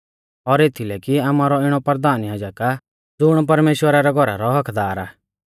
और एथीलै कि आमारौ इणौ परधान याजक आ ज़ुण परमेश्‍वरा रै घौरा रौ हक्क्कदार आ